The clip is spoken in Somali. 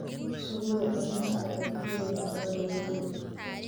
Ka fogow cunista cuntooyinka aan la hubin.